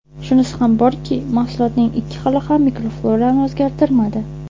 Shunisi ham borki, mahsulotning ikki xili ham mikroflorani o‘zgartirmadi.